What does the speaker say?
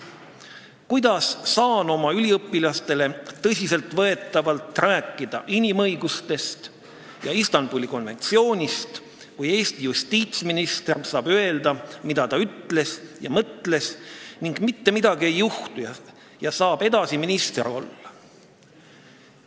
Kuidas saan ma oma üliõpilastele tõsiselt võetavalt rääkida inimõigustest ja Istanbuli konventsioonist, kui Eesti justiitsminister saab öelda, mida ta ütles ja mõtles, ning mitte midagi ei juhtu, ta saab edasi minister olla?